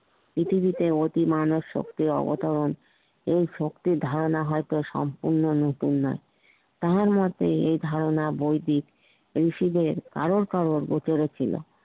পৃথিবীতে অতি মানব সক্রিয় অবতার ও শক্তির ধারনা হইত সম্পূর্ণ নতুন নই তাহার মতে এই ধারনা বৈদিক এবং কারর কারর ছিল